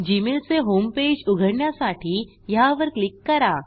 Gmail चे homepage उघडण्यासाठी ह्यावर क्लिक करा